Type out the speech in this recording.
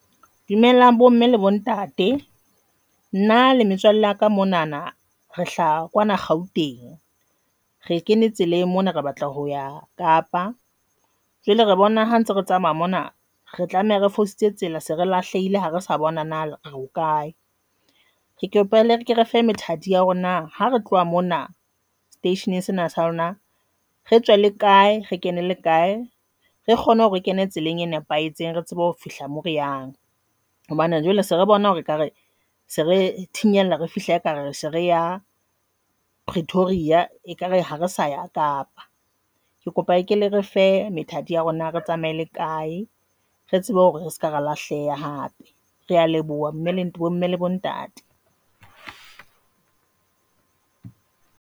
Dumelang bo mme le bontate nna le metswalle ya ka monana re hlaha kwana Gauteng, Re kene tseleng mona, re batla hoya Kapa jwale re bona ha ntse re tsamaya mona, re tlameha re fositse Tsela se re lahlehile ha re sa bona na re bokae re kopele ere ke re fe methati ya hore na ha re tloha mona seteisheneng sena sa lona re tswe le kae re kene le kae re kgone hore re kene tseleng e nepahetseng re tsebe ho fihla mo reyang hobane jwale se re bona hore ekare se re thinyella re fihla ekare re se re ya Pretoria ekare ha re sa ya Kapa ke kopa kele re fe methati ya hore re tsamaye le kae re tsebe hore re seka ra lahleha hape. Re a leboha bomme le mmele bontate.